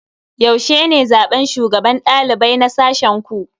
Yaushe ne zaben shugaban dalibai na sashen ku?